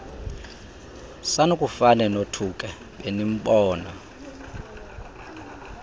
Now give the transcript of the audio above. sanukufane nothuke benimbona